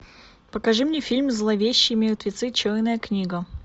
покажи мне фильм зловещие мертвецы черная книга